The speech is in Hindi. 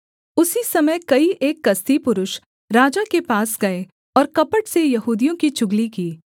उसी समय कई एक कसदी पुरुष राजा के पास गए और कपट से यहूदियों की चुगली की